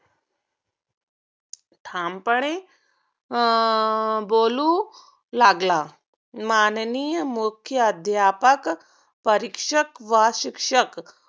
ठामपणे अं बोलू लागला. माननीय मुख्याद्यापक, परीक्षक व शिक्षक